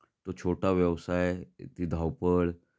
तो छोटा व्यवसाय ती धावपळ